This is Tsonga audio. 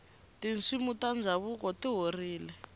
tinsimu ta ndhavuko ti horile